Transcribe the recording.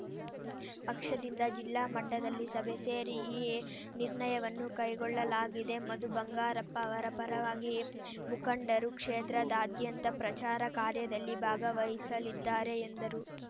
ಪಕ್ಷದಿಂದ ಜಿಲ್ಲಾ ಮಟ್ಟದಲ್ಲಿ ಸಭೆ ಸೇರಿ ಈ ನಿರ್ಣಯವನ್ನು ಕೈಗೊಳ್ಳಲಾಗಿದೆ ಮಧು ಬಂಗಾರಪ್ಪ ಅವರ ಪರವಾಗಿ ಮುಖಂಡರು ಕ್ಷೇತ್ರದಾಂದ್ಯಂತ ಪ್ರಚಾರ ಕಾರ್ಯದಲ್ಲಿ ಭಾಗವಹಿಸಲಿದ್ದಾರೆ ಎಂದರು